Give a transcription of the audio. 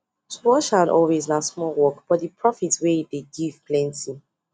to wash hand always na small work but di profit wey e dey give plenty